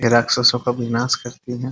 ये राक्षसों का विनाश करती है।